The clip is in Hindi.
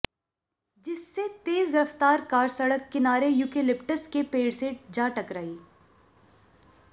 जिससे तेज रफ्तार कार सड़क किनारे यूकेलिप्टस के पेड़ से जा टकराई